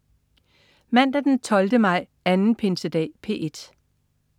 Mandag den 12. maj. Anden pinsedag - P1: